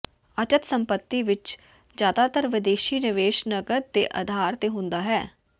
ਅਚੱਲ ਸੰਪਤੀ ਵਿੱਚ ਜ਼ਿਆਦਾਤਰ ਵਿਦੇਸ਼ੀ ਨਿਵੇਸ਼ ਨਕਦ ਦੇ ਅਧਾਰ ਤੇ ਹੁੰਦਾ ਹੈ